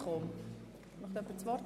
– Möchte jemand das Wort?